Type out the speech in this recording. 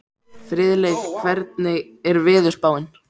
Friðleif, hvernig er veðurspáin?